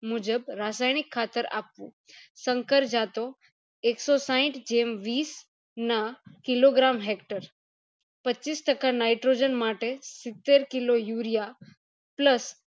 મુજબ રાસાયણિક ખાતર આપવું સંકર જતો એકસો સાઈઠ જેમ વિશ ના kilogram hector પચીસ ટકા nitrogen માટે સિત્તેર kilo urea plus